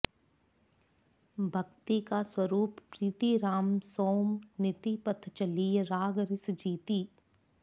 भक्तिका स्वरुप प्रीति राम सों नीति पथ चलिय राग रिस जीति